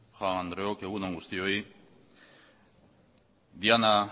jaun andreok egun on guztioi diana